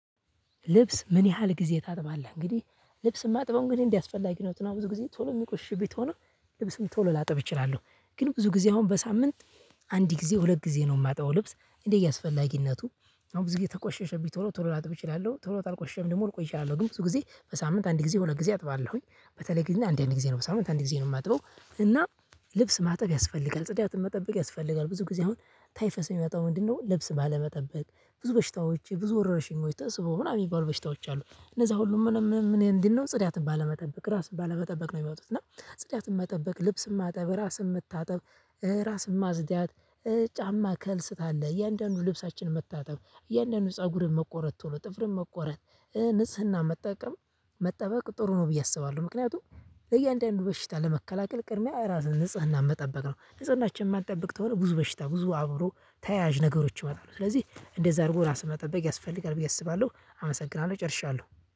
ልብስ ምን ያህል ጊዜ ታጥባለህ? እንግዲህ ልብስ የማጥበው እንግዲህ እንዲያስፈልግ የሆኑት ነው። ብዙ ጊዜ ቶሎ የሚቆሽሽብኝ ቶሎ ልብስም ቶሎ ላጥብ ይችላሉ ግን ብዙ ጊዜ አሁን በሳምንት አንድ ጊዜ ሁለት ጊዜ ነው። የማጣው ልብስ እንዴ እያስፈላጊነቱ አሁን ብዙ ጊዜ ተቆሸሸብኝ ቶሎ ቶሎ ላጥብ እችላለሁ ቶሎ ታልቆሸም ደግሞ ልቆይ እችላለሁ። ግን ብዙ ጊዜ በሳምንት አንድ ጊዜ ሁለት ጊዜ አጥባለሁኝ። በተለይ ጊዜ አንድ አንድ ጊዜ ነው በሳምንት አንድ ጊዜ ነው የማጥበው። እና ልብስ ማጠብ ያስፈልጋል ጽዳትን መጠበቅ ያስፈልጋል። ብዙ ጊዜ አሁን ታይፈስ የሚመጣው ምንድነው? ልብስ ባለመጠበቅ ብዙ በሽታዎች ብዙ ወረረሽኝ ሞይ ተስቦ ምናምን የሚባሉ በሽታዎች አሉ። እነዛ ሁሉም ምንም ምን እንዲህ ነው ጽዳትን ባለመጠበቅ ራስን ባለመጠበቅ ነው የሚወጡት። እና ጽዳትን መጠበቅ ልብስን ማጠበቅ ራስም መታጠብ ራስም ማጽዳት። ጫማ ካልስ ካለ እያንዳንዱ ልብሳችንን መታጠብ እያንዳንዱ ፀጉርን መቆረጥ ቶሎ ጥፍርን መቆረጥ ንጽህና መጠቀም መጠበቅ ጥሩ ነው። ብዬ አስባለሁ ምክንያቱም ለእያንዳንዱ በሽታ ለመከላከል ቅድሚያ ራስን ንጽህና መጠበቅ ነው። ንጽህናችን የማትጠብቅ ተሆነ ብዙ በሽታ ብዙ አብሮ ተያያዥ ነገሮች ስለዚህ እንደዛ አድርጎ ራስህን መጠበቅ ያስፈልጋል ብዬ አስባለሁ። አመሰግናለሁ ጨርሻለሁ።